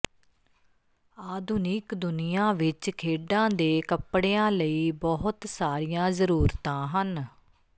ਆਧੁਨਿਕ ਦੁਨੀਆ ਵਿਚ ਖੇਡਾਂ ਦੇ ਕੱਪੜਿਆਂ ਲਈ ਬਹੁਤ ਸਾਰੀਆਂ ਜ਼ਰੂਰਤਾਂ ਹਨ